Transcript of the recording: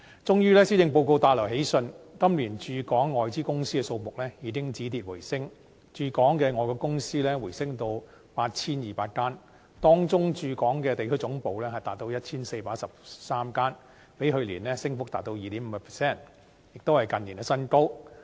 終於，施政報告帶來喜訊，今年駐港外資公司的數目，已經止跌回升，駐港的外國公司回升到 8,200 間，當中駐港的地區總部達 1,413 間，比去年升幅達 2.5%， 亦都是近年新高。